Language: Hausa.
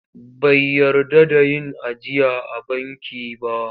Bai yarda da yin ajiya a banki ba..